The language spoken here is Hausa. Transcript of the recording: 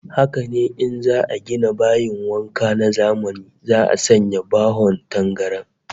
Haka ne, in za'a gina bayin wanka na zamani za'a sanya bahon tangaran